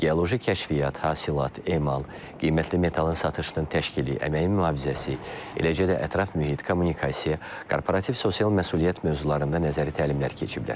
Geoloji kəşfiyyat, hasilat, emal, qiymətli metalın satışının təşkili, əməyin mühafizəsi, eləcə də ətraf mühit, kommunikasiya, korporativ sosial məsuliyyət mövzularında nəzəri təlimler keçiblər.